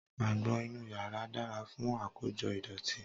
Àgbọn inú yàrá dára fún àkójọ ìdọ̀tí.